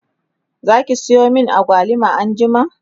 Zaki Sayo min agwaluma anjima?